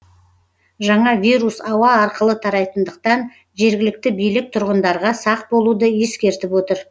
жаңа вирус ауа арқылы тарайтындықтан жергілікті билік тұрғындарға сақ болуды ескертіп отыр